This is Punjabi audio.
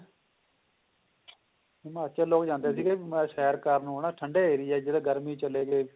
ਹਿਮਾਚਲ ਲੋਕ ਜਾਂਦੇ ਸੀਗੇ ਸੈਰ ਕਰਨ ਉਹਨਾਂ ਠੰਡੇ ਏਰੀਏ ਜਦੋ ਗਰਮੀ ਚਲੇ ਗਏ